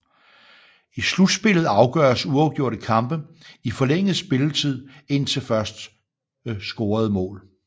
I slutspillet afgøres uafgjorte kampe i forlænget spilletid indtil første scorede mål